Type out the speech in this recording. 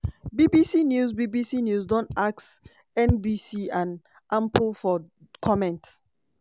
bbc news bbc news don ask nbc and ample for comment.